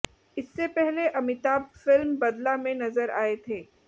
इससे पहले अमिताभ फिल्म बदला में नजर आए थे